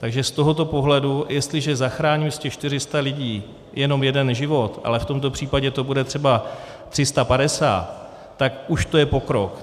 Takže z tohoto pohledu jestliže zachráním z těch 400 lidí jenom jeden život, ale v tomto případě to bude třeba 350, tak už to je pokrok.